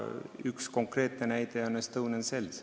Üks konkreetne näide on Estonian Cell.